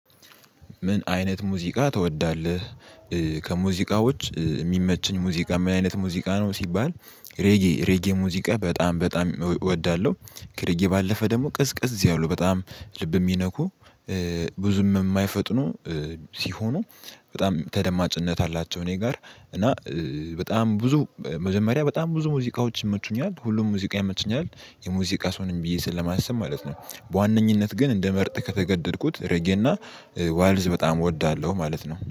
ምን አይነት ሙዚቃ ትወዳለህ? ከሙዚቃዎች የሚመችኝ ሙዚቃ ምን አይነት ሙዚቃ ነው ሲባል ሬጌ ሬጌ ሙዚቃ በጣም በጣም እወዳለሁ። ከሬጌ ባለፈ ደግሞ ቅዝቅዝ ያውለው በጣም ልብ የሚነኩ ብዙም የማይፈጥኑ ሲሆኑ በጣም ተደማጭነት አላቸው። እኔ ጋር እና በጣም ብዙ መጀመሪያ በጣም ብዙ ሙዚቃዎች ይመቹኛል ሁሉም ሙዚቃ ይመቹኛል የሙዚቃ ሰው ነኝ ብዬ ስለማሰብ ማለት ነው። በዋነኝነት ግን እንደመርጥ ከተገደድኩት ረጌና ዋልዝ በጣም እወዳለሁ ማለት ነው